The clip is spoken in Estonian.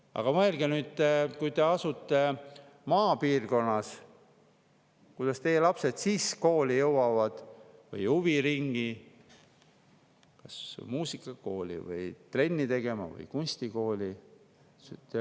Aga mõelge nüüd: kui te asute maapiirkonnas, kuidas teie lapsed jõuavad siis kooli või huviringi, muusikakooli või trenni tegema või kunstikooli?